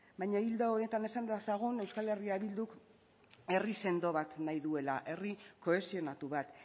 baina ildo honetan esan dezagun euskal herria bilduk herri sendo bat nahi duela herri kohesionatu bat